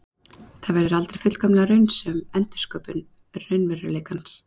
Þau verða aldrei fullkomlega raunsönn endursköpun raunveruleikans.